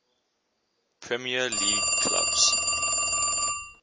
premier league clubs